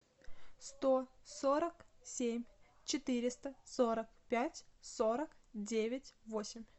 сто сорок семь четыреста сорок пять сорок девять восемь